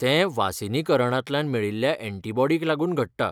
ते वासिनीकरणातल्यान मेळिल्ल्या एंटीबॉडिंक लागून घडटा.